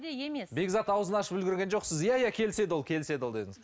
бекзат аузын ашып үлгерген жоқ сіз иә иә келіседі ол келіседі ол дедіңіз